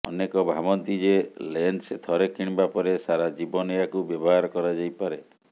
ଅନେକ ଭାବନ୍ତି ଯେ ଲେନ୍ସ ଥରେ କିଣିବା ପରେ ସାରା ଜୀବନ ଏହାକୁ ବ୍ୟବହାର କରାଯାଇପାରେ